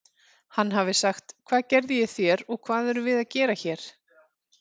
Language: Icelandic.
Hann hafi sagt: Hvað gerði ég þér og hvað erum við að gera hér?